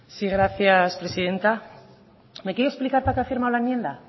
sí gracias presidenta me quiere explicar para qué ha firmado la enmienda